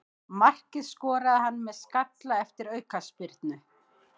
Markið skoraði hann með skalla eftir aukaspyrnu.